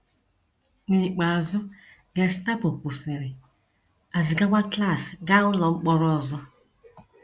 N’ikpeazụ, Gestapo kwụsịrị, a zigakwa Klaas gaa ụlọ mkpọrọ ọzọ.